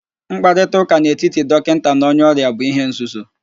Mkparịtaụ́ká n'etiti dọkịnta na onye ọrịa bu ihe nzuzo